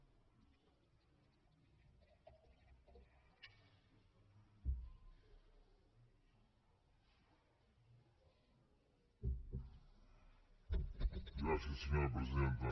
gràcies senyora presidenta